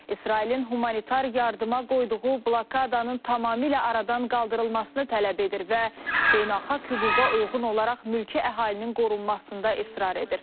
İsrailin humanitar yardıma qoyduğu blokadanın tamamilə aradan qaldırılmasını tələb edir və beynəlxalq hüquqa uyğun olaraq mülki əhalinin qorunmasında israr edir.